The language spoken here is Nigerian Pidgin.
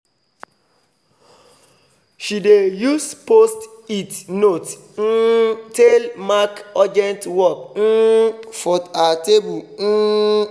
she dey use post-it note um tale mark urgent work um for her table um